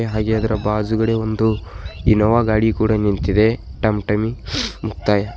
ಹಾಗೆ ಅದರ ಬಾಜುಗಡೆ ಒಂದು ಇನ್ನೋವ ಗಾಡಿ ಕೂಡ ನಿಂತಿದೆ ಟಂ ಟಮಿ ಮುಕ್ತಾಯ.